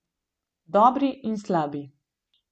Dobri in slabi.